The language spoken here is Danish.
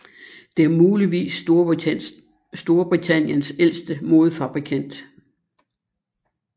Det er muligvis Storbritanniens ældste modefabrikant